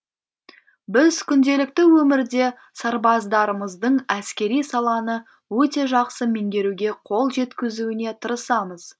біз күнделікті өмірде сарбаздарымыздың әскери саланы өте жақсы меңгеруге қол жеткізуіне тырысамыз